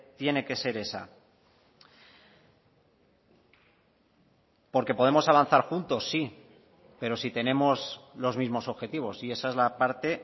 tiene que ser esa porque podemos avanzar juntos sí pero si tenemos los mismos objetivos y esa es la parte